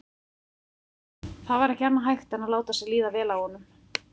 Það var ekki annað hægt en láta sér líða vel af honum.